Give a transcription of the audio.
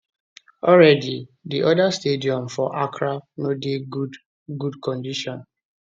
already di oda stadium for accra no dey good good condition